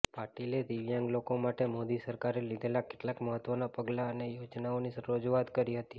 પાટીલે દિવ્યાંગ લોકો માટે મોદી સરકારે લીધેલા કેટલાક મહત્ત્વનાં પગલાં અને યોજનાઓની રજૂઆત કરી હતી